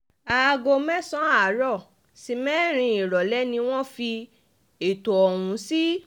àárín aago mẹ́sàn àárọ̀ sí mẹ́rin ìrọ̀lẹ́ ni wọ́n fi ẹ̀tọ́ ọ̀hún sí